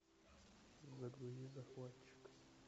загрузи захватчик